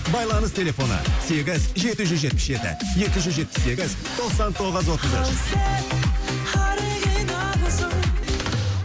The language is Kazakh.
байланыс телефоны сегіз жеті жүз жетпіс жеті екі жүз жетпіс сегіз тоқсан тоғыз отыз үш ал сен оригиналсың